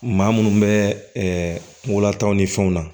Maa munnu bɛ wulatanw ni fɛnw na